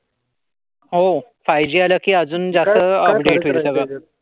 हो. Five G आला की अजून जास् अब्टेट होईल सगळ.